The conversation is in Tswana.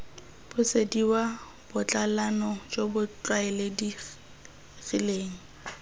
busediwa botsalano jo bo tlwaelegileng